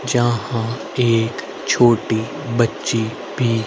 जहां एक छोटी बच्ची भी--